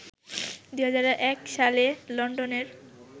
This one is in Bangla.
২০০১ সালে লন্ডনের